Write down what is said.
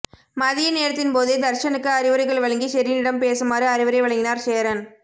மதிய நேரத்தின்போதே தர்ஷனுக்கு அறிவுரைகள் வழங்கி ஷெரீனிடம் பேசுமாறு அறிவுரை வழங்கினார் சேரன்